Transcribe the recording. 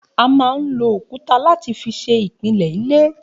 A máa ń lo òkúta láti fi ṣe ìpìlẹ̀ ilé